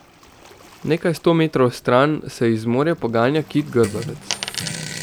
Nekaj sto metrov stran se iz morja poganja kit grbavec.